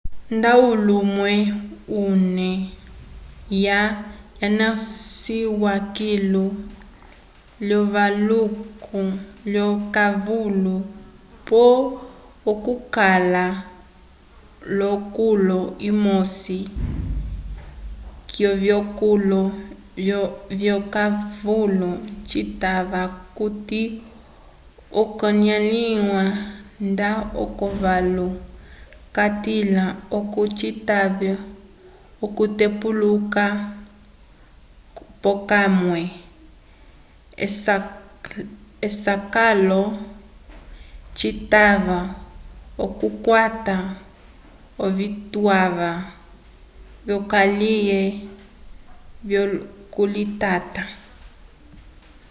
nda ulumwe ume uwa wanasiwa kilu lyokavalu pole okukala l'okulu umosi k'ovikolo vyokavalu citava okuti okanalĩwa nda okavalu katila oco citave okutepuluka p'okamwe esakalaso citava okukwata ovituwa vyokaliye vyokulitata